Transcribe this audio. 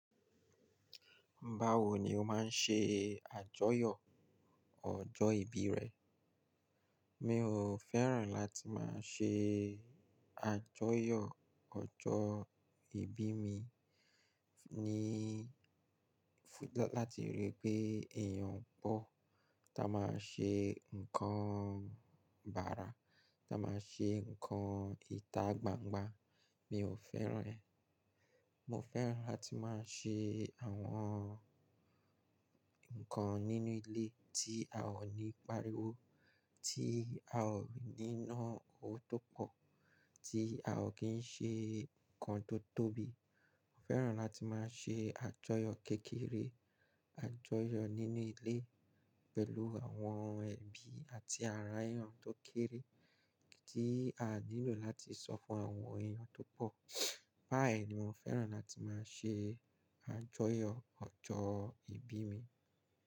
Báwo ni o máa ń ṣe àjọyọ̀ ọjọ́ ìbí rẹ? Mi ò fẹ́ràn láti máa ṣe àjọyọ̀ ọjọ́ ìbí mi ní-- láti rí i pé èèyàn pọ̀ tá máa ń ṣe nǹkan bàrà, tá máa ń ṣe nǹkan ìta gbangba. Mi ò fẹ́ràn ẹ. Mo fẹ́ràn láti máa ṣe àwọn ǹnkan nínú ilé tí a ò ní pariwo, tí a ò ní níná owó tó pọ̀, tí a ò kí ń ṣe nǹkan tó tóbi. Mo fẹ́ràn láti máa ṣe àjọyọ̀ kékeré, àjọyọ̀ nínú ilé pẹ̀lú àwọn ẹbí àti àrà ẹ́yàn tó kéré tí a nílò láti sọ fún àwọn èèyàn tó pọ̀. Bá yẹn ni mo fẹ́ràn láti máa ṣe àjọyọ̀ ọjọ́ ìbí mi.